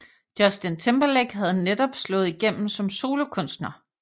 Justin Timberlake havde netop slået igennem som solokunster